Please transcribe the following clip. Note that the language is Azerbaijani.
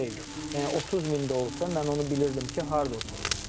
Yəni 30 min də olsa, mən onu bilirdim ki, harda oturur.